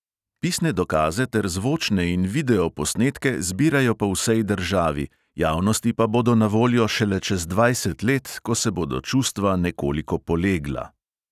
Pisne dokaze ter zvočne in videoposnetke zbirajo po vsej državi, javnosti pa bodo na voljo šele čez dvajset let, ko se bodo čustva nekoliko polegla.